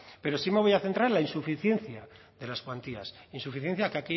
pero sí me voy a centrar en la insuficiencia de las cuantías insuficiencia que